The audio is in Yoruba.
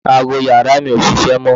Aago yàrá mi ò ṣiṣẹ́ mọ́